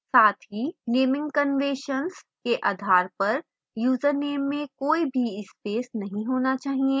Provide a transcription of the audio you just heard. साथ ही naming conventions के आधार पर यूजरनेम में कोई भी spaces नहीं होना चाहिए